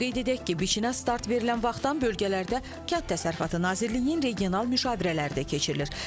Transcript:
Qeyd edək ki, biçinə start verilən vaxtdan bölgələrdə Kənd Təsərrüfatı Nazirliyinin regional müşavirələri də keçirilir.